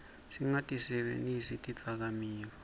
singatisebentisi tidzakamiva